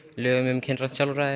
lögum um kynrænt sjálfræði